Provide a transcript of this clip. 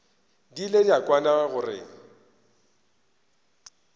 di ile tša kwana gore